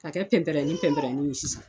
Ka kɛ pɛnpɛrɛnin pɛnpɛrɛ nin ye sisan